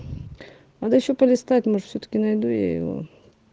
надо ещё полистать может всё-таки найду я его